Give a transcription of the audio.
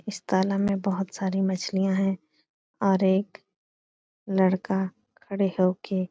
इस तालाब में बहुत सारी मछलियां हैं और एक लड़का खड़े होके --